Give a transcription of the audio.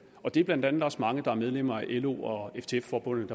og det er blandt andet også mange der er medlemmer af lo og ftf forbundet